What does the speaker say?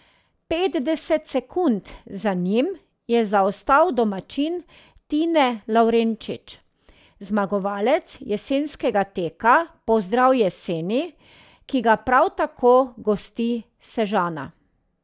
Petdeset sekund za njim je zaostal domačin Tine Lavrenčič, zmagovalec jesenskega teka Pozdrav jeseni, ki ga prav tako gosti Sežana.